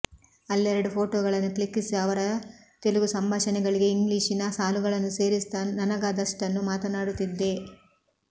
ಅಲ್ಲೆರಡು ಫೋಟೋಗಳನ್ನು ಕ್ಲಿಕ್ಕಿಸಿ ಅವರ ತೆಲಗು ಸಂಭಾಷಣೆಗಳಿಗೆ ಇಂಗ್ಲೀಷಿನ ಸಾಲುಗಳನ್ನು ಸೇರಿಸುತ್ತಾ ನನಗಾದಷ್ಟನ್ನು ಮಾತನಾಡುತಿದ್ದೆ